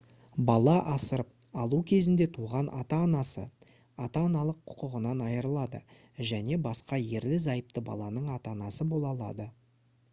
бала асырап алу кезінде туған ата-анасы ата-аналық құқығынан айырылады және басқа ерлі-зайыпты баланың ата-анасы бола алады